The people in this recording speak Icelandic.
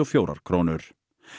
fjórar krónur